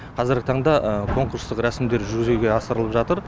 қазіргі таңда конкурстық рәсімдер жүзеге асырылып жатыр